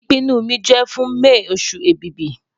Ipinnu mi jẹ fun May osu Ẹ̀bìbì